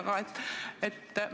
Ikka seda, et küll me saame hakkama.